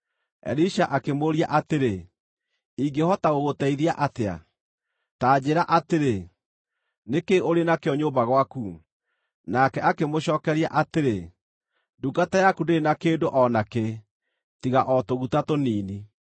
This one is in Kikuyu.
Elisha akĩmũũria atĩrĩ, “Ingĩhota gũgũteithia atĩa? Ta njĩĩra atĩrĩ, nĩ kĩĩ ũrĩ nakĩo nyũmba gwaku?” Nake akĩmũcookeria atĩrĩ, “Ndungata yaku ndĩrĩ na kĩndũ o nakĩ, tiga o tũguta tũnini.”